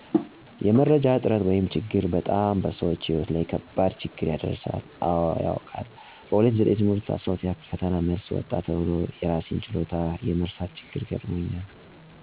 የመረጃ እጥረት ወይም ችግር በጣም በሰዎች ሕይወት ላይ ከባድ ችግር ያደረሳል። አወ ያውቃል። በ2009 ዓ/ም የ12ኛ ክፍል ፈተና መልስ ወጣ ተብሎ የእራሴን ችሎታ የመርሳት ችግር ገጥሞኛል።